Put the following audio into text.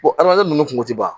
adamaden ninnu kun ti ban